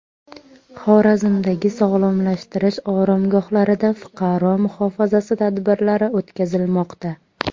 Xorazmdagi sog‘lomlashtirish oromgohlarida fuqaro muhofazasi tadbirlari o‘tkazilmoqda.